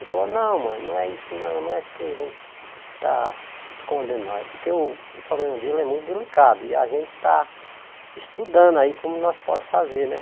Ele falou, não mãe, não é isso não, não é que a gente está escondendo não, é porque o problema dele é muito delicado e a gente está estudando aí como nós podemos fazer, né?